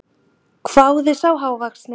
hváði sá hávaxni.